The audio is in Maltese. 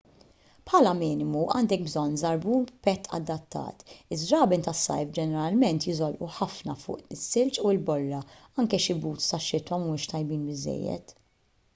bħala minimu għandek bżonn żarbun b'pett adattat iż-żraben tas-sajf ġeneralment jiżolqu ħafna fuq is-silġ u l-borra anke xi boots tax-xitwa mhumiex tajbin biżżejjed